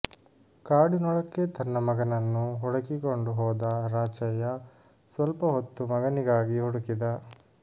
ಕಾಡಿನೊಳಕ್ಕೆ ತನ್ನ ಮಗನನ್ನು ಹುಡುಕಿಕೊಂಡು ಹೋದ ರಾಚಯ್ಯ ಸ್ವಲ್ಪ ಹೊತ್ತು ಮಗನಿಗಾಗಿ ಹುಡುಕಿದ